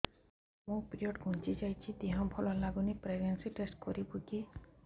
ମୋ ପିରିଅଡ଼ ଘୁଞ୍ଚି ଯାଇଛି ଦେହ ଭଲ ଲାଗୁନି ପ୍ରେଗ୍ନନ୍ସି ଟେଷ୍ଟ କରିବୁ କି